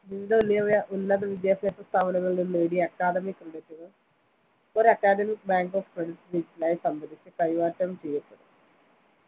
വിവിധ ഉന്യ ഉന്നതവിദ്യാഭ്യാസ സ്ഥാപനങ്ങളില്‍ നിന്ന് നേടിയ academic credit കള്‍ ഒരു academic bank of credit digital ലായി സംഭരിച്ച് കൈമാറ്റെ ചെയ്യപ്പെടും